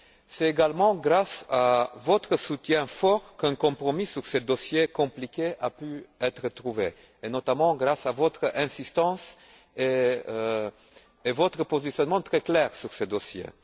C'est également grâce à votre soutien fort qu'un compromis sur ce dossier compliqué a pu être trouvé, et notamment grâce à votre insistance et à votre positionnement très clair sur ce dossier.